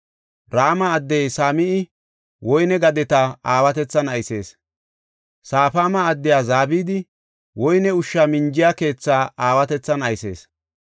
Rama addey Same7i woyne gadeta aawatethan aysees. Safaama addey Zabdi woyne ushsha minjiya keethaa aawatethan aysees.